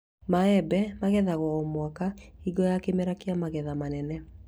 Maembe ĩgethagwo o mũaka hingo ya kĩmera kĩa magetha manene